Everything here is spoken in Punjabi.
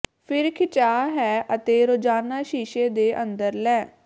ਫਿਰ ਖਿਚਾਅ ਹੈ ਅਤੇ ਰੋਜ਼ਾਨਾ ਸ਼ੀਸ਼ੇ ਦੇ ਅੰਦਰ ਲੈ